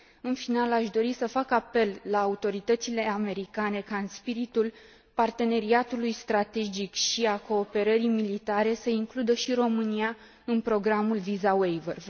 În final, aș dori să fac apel la autoritățile americane ca, în spiritul parteneriatului strategic și al cooperării militare, să includă și România în programul Visa Waver.